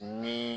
Ni